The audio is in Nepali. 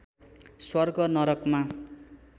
स्वर्ग नरकमा